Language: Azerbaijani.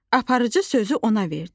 Aparıcı sözü ona verdi.